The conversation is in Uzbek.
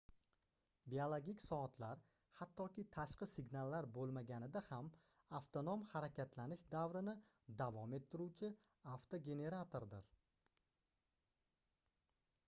biologik soatlar hattoki tashqi signallar boʻlmaganida ham avtonom harakatlanish davrini davom ettiruvchi avtogeneratordir